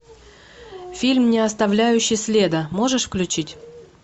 фильм не оставляющий следа можешь включить